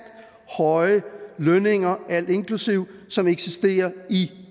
høje lønninger alt inklusive som eksisterer i